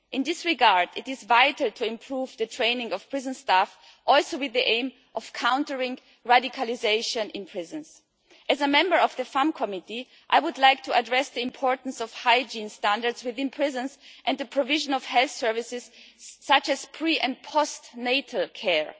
In this regard, it is vital to improve the training of prison staff also with the aim of countering radicalisation in prisons. As a Member of the Committee on Women's Rights, I would like to address the importance of hygiene standards within prisons and the provision of health services such as pre and post natal care.